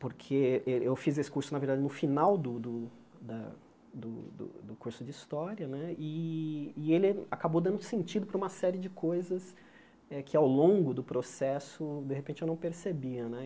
porque eh eu fiz esse curso, na verdade, no final do do da do do curso de História né, e ele acabou dando sentido para uma série de coisas que, ao longo do processo, de repente eu não percebia né.